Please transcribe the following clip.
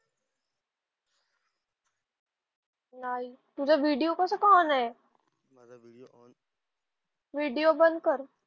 नाही. तुझा व्हिडिओ कसा काय ऑन आहे? व्हिडिओ बंद कर.